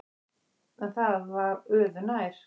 En það var öðu nær.